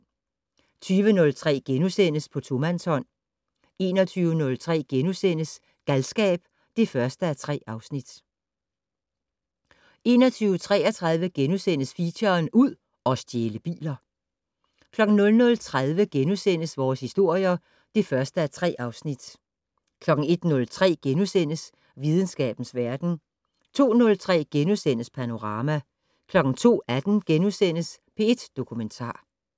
20:03: På tomandshånd * 21:03: Galskab (1:3)* 21:33: Feature: Ud og stjæle biler * 00:30: Vores historier (1:3)* 01:03: Videnskabens verden * 02:03: Panorama * 02:18: P1 Dokumentar *